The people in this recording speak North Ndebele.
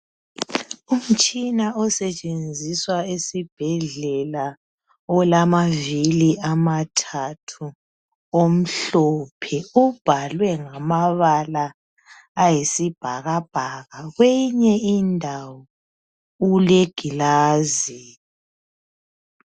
Umtshina osetshenziswa esibhedlela olamavili amathathu, omhlophe ubhalwe ngamabala ayisibhakabhaka kwenye indawo ulegilasi.